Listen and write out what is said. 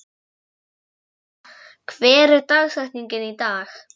Nella, hver er dagsetningin í dag?